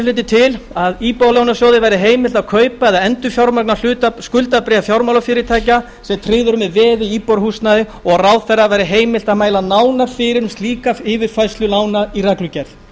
hlutinn til að íbúðalánasjóði verði heimilt að kaupa eða endurfjármagna skuldabréf fjármálafyrirtækja sem tryggð eru með veði í íbúðarhúsnæði og að ráðherra verði heimilt að mæla nánar fyrir um slíka yfirfærslu lána í reglugerð